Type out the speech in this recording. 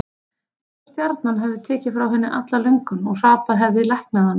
Einsog stjarnan hefði tekið frá henni alla löngun og hrapið hefði læknað hana.